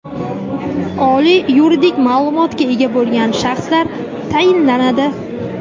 oliy yuridik maʼlumotga ega bo‘lgan shaxslar tayinlanadi.